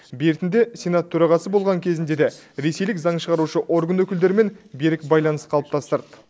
бертінде сенат төрағасы болған кезінде де ресейлік заң шығарушы орган өкілдерімен берік байланыс қалыптастырды